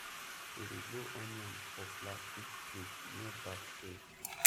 we dey grow onion for plastic crate near back stairs